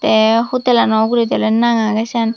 te hotel ano ugurendi ole nang agey seyan.